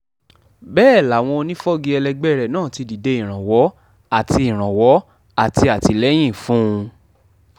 bẹ́ẹ̀ làwọn onífọ́gi ẹlẹgbẹ́ rẹ̀ náà ti dìde ìrànwọ́ àti ìrànwọ́ àti àtìlẹ́yìn fún un